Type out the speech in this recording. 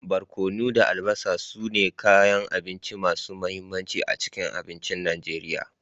Barkono da albasa su ne kayan abinci masu mahimmanci a cikin abincin Najeriya.